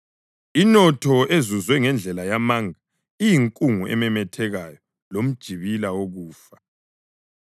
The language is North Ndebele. Inotho ezuzwe ngendlela yamanga iyinkungu ememethekayo lomjibila wokufa.